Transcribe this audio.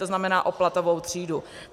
To znamená o platovou třídu.